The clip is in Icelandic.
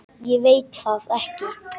Ég veit það ekki